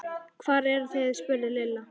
Hvar eruð þið? spurði Lilla.